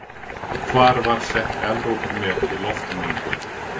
Hvar var sett Evrópumet í loftmengun?